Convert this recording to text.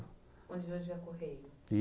Onde hoje é a Correio. I